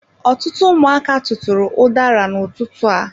Ọtụtụ ụmụaka tụtụrụ udara n'ututu a.